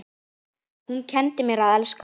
Hún kenndi mér að elska.